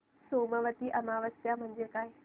सोमवती अमावस्या म्हणजे काय